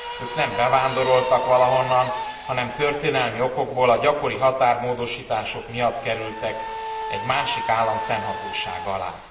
Ők nem bevándoroltak valahonnan, hanem történelmi okokból, a gyakori határmódosítások miatt kerültek egy másik állam fennhatósága alá.